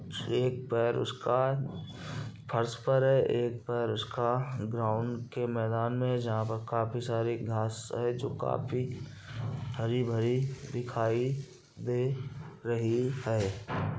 एक पैर उसका फर्श पर है एक पैर उसका ग्राउन्ड के मैदान में है जहाँ पर काफी सारी घांस है जो काफी हरी-भरी दिखाई दे रही है।